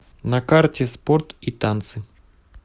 на карте спорт и танцы